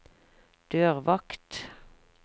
dørvakt